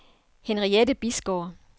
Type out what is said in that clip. Henriette Bisgaard